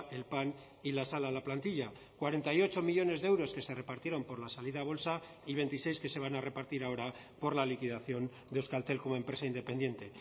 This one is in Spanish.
el pan y la sal a la plantilla cuarenta y ocho millónes de euros que se repartieron por la salida a bolsa y veintiséis que se van a repartir ahora por la liquidación de euskaltel como empresa independiente